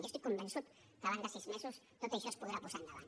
jo estic convençut que abans de sis mesos tot això es podrà posar endavant